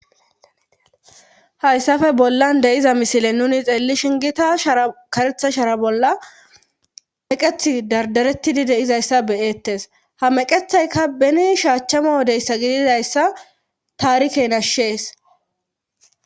Hayssafe bollan deyiza misile nuni xeelli shingita shara karetha shara bolla meqeth dardarettidideizayssa beyettes ha meqethayka beni shaachchama wodeyssa gididayssa taarike nashshees.